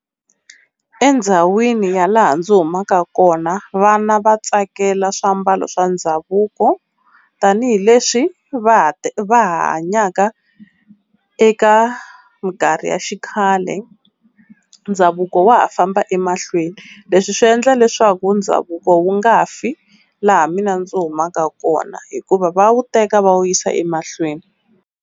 Endzhawini ya laha ndzi humaka kona vana va tsakela swiambalo swa ndhavuko tanihileswi va ha hanyaka eka minkarhi ya xikhale ndhavuko wa ha famba emahlweni. Leswi swi endla leswaku ndhavuko wu nga fi laha mina ndzi humaka kona hikuva va wu teka va wu yisa emahlweni.